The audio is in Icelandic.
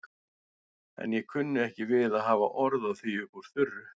En ég kunni ekki við að hafa orð á því upp úr þurru.